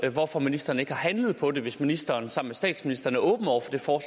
hvorfor ministeren ikke har handlet på det hvis ministeren sammen med statsministeren er åben over for